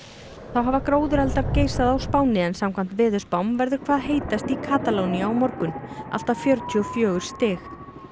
þá hafa geisað á Spáni samkvæmt veðurspám verður hvað heitast í Katalóníu á morgun allt að fjörutíu og fjögur stig